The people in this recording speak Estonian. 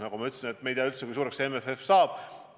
Nagu ma ütlesin, me ei tea, kui suur see MFF saab olema.